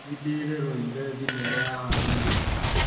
Nĩndĩreroire thinema ya haro ira ũtukũ